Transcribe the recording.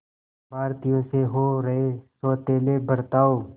भारतीयों से हो रहे सौतेले बर्ताव